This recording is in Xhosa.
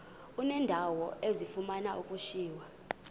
uneendawo ezifuna ukushiywa